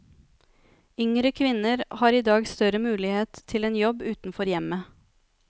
Yngre kvinner har i dag større muligheter til en jobb utenfor hjemmet.